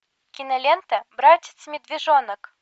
кинолента братец медвежонок